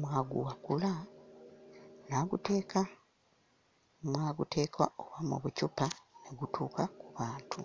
mw'aguwakula n'aguteeka n'aguteeka oba mu bucupa ne gutuuka ku bantu.